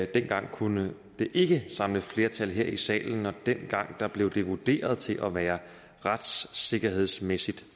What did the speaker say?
dengang kunne det ikke samle flertal her i salen og dengang blev det vurderet til at være retssikkerhedsmæssig